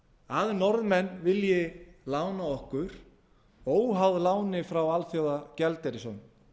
að norðmenn vilji lána okkur óháð láni frá alþjóðagjaldeyrissjóðnum